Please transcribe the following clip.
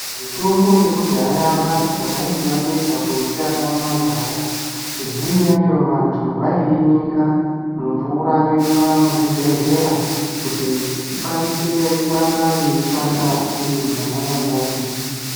Mitombo yekudhaya vantu vaiti vapedza kuitsvaka mumagasha. Imweni yachi vantu vaiinyika mumvura yoiswa muzvibhedhlera. Kuti ikwanise kuramba yeishanda iri mwona imwomwo.